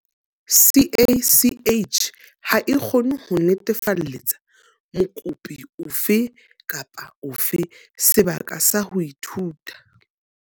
CACH ha e kgone ho netefalletsa mokopi ofe kapa ofe sebaka sa ho ithuta.